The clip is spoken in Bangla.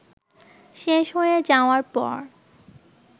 শেষ হয়ে যাওয়ার পর